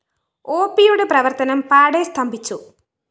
ഒപിയുടെ പ്രവര്‍ത്തനം പാടെ സ്തംഭിച്ചു